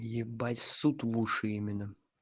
ебать ссут в уши именно